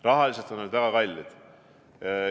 Rahaliselt on need väga kallid.